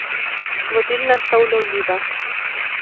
Vodilna sta ulovljiva.